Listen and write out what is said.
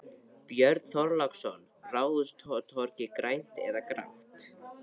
Björn Þorláksson: Ráðhústorgið, grænt eða grátt?